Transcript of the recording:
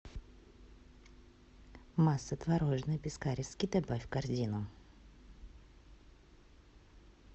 масса творожная пискаревский добавь в корзину